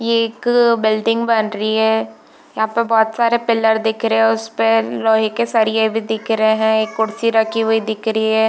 ये एक बिल्डिंग बन रही है यहाँ पे बहुत सारे पिलर दिख रहे है उसपे लोहे के सरिये भी दिख रहे है एक कुर्सी रखी हुई दिख रही है।